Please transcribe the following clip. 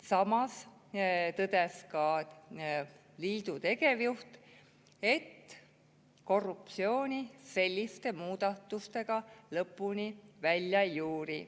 Samas tõdes ka liidu tegevjuht, et korruptsiooni selliste muudatustega lõpuni välja ei juuri.